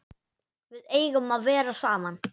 Við eigum að vera saman.